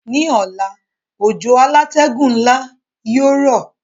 Ní ọ̀la, òjò alátẹ́gùn nla yio rọ̀